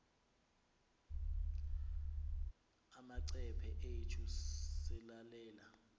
amacephe ethu selelal